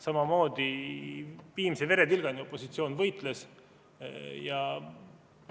Samamoodi võitles opositsioon viimse veretilgani.